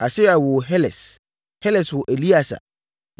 Asaria woo Heles. Heles woo Eleasa.